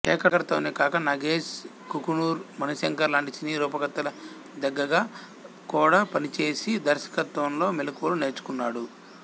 శేఖర్ తోనే కాక నగేశ్ కుకునూర్ మణిశంకర్ లాంటి సినీ రూపకర్తల దగ్గగ కూడా పనిచేసి దర్శకత్వంలో మెలకువలు నేర్చుకున్నాడు